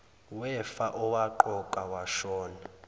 wefa owaqokwa ashona